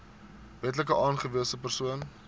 wetlik aangewese persoon